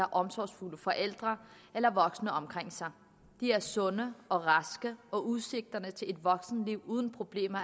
har omsorgsfulde forældre eller voksne omkring sig de er sunde og raske og udsigterne til et voksenliv uden problemer